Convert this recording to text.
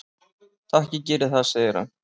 """Takk, ég geri það, segir hann."""